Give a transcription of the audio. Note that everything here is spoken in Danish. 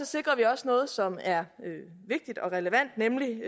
sikrer vi også noget som er vigtigt og relevant nemlig